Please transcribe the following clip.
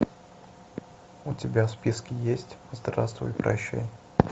у тебя в списке есть здравствуй и прощай